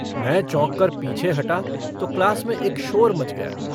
मैं चौंककर पीछे हटा तो क्लास में एक शोर मच गया।